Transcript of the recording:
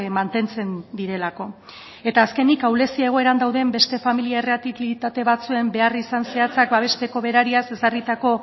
mantentzen direlako eta azkenik ahulezi egoeran dauden beste famili errealitate batzuen beharrizan zehatzak babesteko berariaz ezarritako